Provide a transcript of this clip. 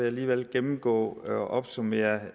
alligevel gennemgå og opsummere